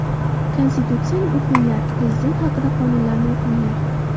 Konstitutsiyani o‘qinglar, prezident haqida qonunlarni o‘qinglar.